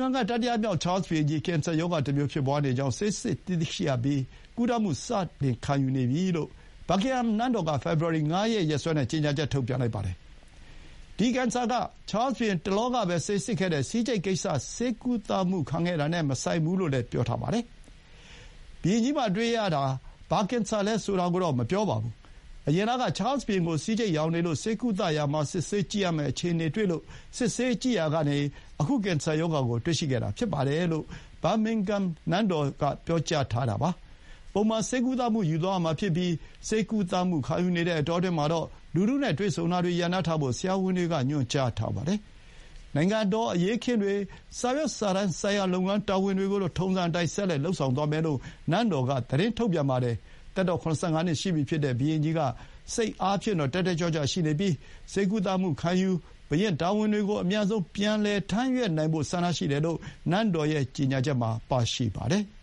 ငံက တတိယမြောက်ချားလ်စ်ဘုရင်ကြီး ကင်ဆာရောဂါတမျိုး ဖြစ်ပွားနေကြောင်း ဆေးစစ်သိရှိရပြီး ကုသမှုစတင်ခံယူနေပြီလို့ ဘာကင်ဟမ်နန်းတော်က ဖေဖော်ဝါရီ ၅ ရက် ရက်စွဲနဲ့ ကြေညာချက် ထုတ်ပြန်ပါတယ်။ ဒီကင်ဆာက ချားလ်စ်ဘုရင် တလောကပဲ ဆေးစစ်ခဲ့တဲ့ ဆီးကျိတ်ကိစ္စ ဆေးကုသမှုခံခဲ့တာနဲ့ မဆိုင်ဘူးလို့လည်း ပြောထားပါတယ်။ ဘုရင်ကြီးမှာတွေ့ရတာ ကင်ဆာ ဘာအမျိုးအစားလဲ ဆိုတာတော့ မပြောပါဘူး။ အရင်လက ချားလ်စ်ဘုရင်ကို ဆီးကျိတ်ရောင်နေလို့ ဆေးကုသမှုလုပ်တာမှာ စစ်ဆေးကြည့်ရမယ့် အခြေအနေတွေ့လို့ စစ်ဆေးကြည့်တာကနေ အခုကင်ဆာရောဂါကို တွေ့ရှိခဲ့တာဖြစ်တယ်လို့ ဘာကင်ဟမ်နန်းတော်က ပြောထားတာပါ။ ပုံမှန်ဆေးကုသမှု ယူသွားရမှာဖြစ်ပြီး ဆေးကုသမှုခံယူနေတဲ့ အတောအတွင်းမှာတော့ လူထုနဲ့ တွေ့ဆုံမှုတွေ ရပ်နားထားဖို့ ဆရာဝန်တွေက ညွှန်ကြားထားပါတယ်။ နိုင်ငံတော် အရေးအခင်းတွေ၊ စာရွတ်စာတမ်းဆိုင်ရာ လုပ်ငန်းတာဝန်တွေကိုတော့ ထုံးစံအတိုင်း ဆက်လက်လုပ်ဆောင်သွားမယ်လို့ နန်းတော်က သတင်းထုတ်ပြန်ပါတယ်။ သက်တော် ၇၅ နှစ်ရှိပြီဖြစ်တဲ့ ဘုရင်ကြီးက စိတ်အားဖြင့်တော့ တက်တက်ကြွကြွရှိပြီး ဆေးကုသမှုခံယူပြီး ဘုရင့်တာဝန်တွေကို အမြန်ဆုံးပြန်ထမ်းရွတ်နိုင်ဖို့ ဆန္ဒရှိတယ်လို့ နန်းတော်ရဲ့ ကြေညာချက်မှာပါရှိပါတယ်။